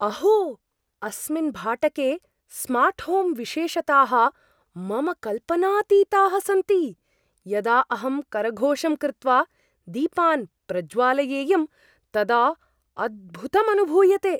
अहो, अस्मिन् भाटके स्मार्ट्होम् विशेषताः मम कल्पनातीताः सन्ति, यदा अहं करघोषं कृत्वा दीपान् प्रज्वालयेयं तदा अद्भुतम् अनुभूयते!